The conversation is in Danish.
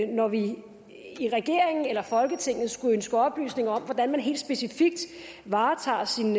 når vi i regeringen eller folketinget skulle ønske oplysninger om hvordan man helt specifikt varetager sine